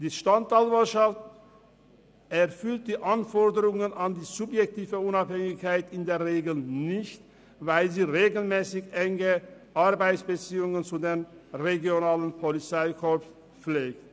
Die Staatsanwaltschaft erfüllt die Anforderung an die subjektive Unabhängigkeit in der Regel nicht, weil sie regelmässig enge Arbeitsbeziehungen zu den regionalen Polizeikorps pflegt.